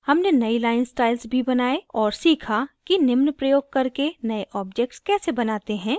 हमने नयी line styles भी बनाये और सीखा कि निम्न प्रयोग करके नए objects कैसे बनाते हैं